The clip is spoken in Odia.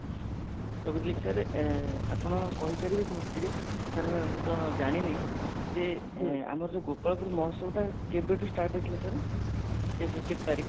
ତ ଏଇ ବିଷୟରେ ଏ ଆପଣ କହିପାରିବେ କି ମତେ ଟିକେ sir ମୁଁ ତ ଜାଣିନି ଯେ ଆମର ଯଉ ଗୋପାଳପୁର ମହୋତ୍ସବ ଟା କେବେ ଠୁ start ହେଇଥିଲା sir କେବେ କେତେ ତାରିଖ